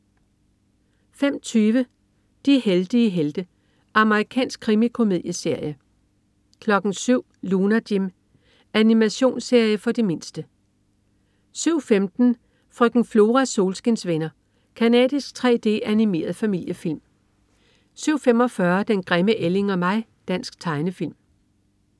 05.20 De heldige helte. Amerikansk krimikomedieserie 07.00 Lunar Jim. Animationsserie for de mindste 07.15 Frøken Floras solskinsvenner. Canadisk 3D-animeret familiefilm 07.45 Den grimme ælling og mig. Dansk tegnefilm